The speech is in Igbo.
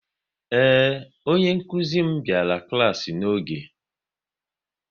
Ee, onye nkuzi m biara klaasi n'oge